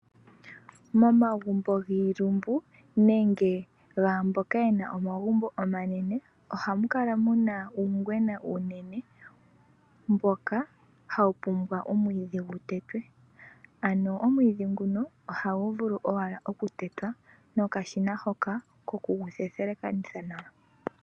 Momagumbo giilumbu nenge gaamboka yena omagumbo omanene, oha mukala muna uungwena uunene mboka ha wupumbwa omwiidhi gu tetwe. Ano omwiidhi nguno oha gu vulu owala okutetwa nokashina hoka koku gu the the thelekanitha nawa.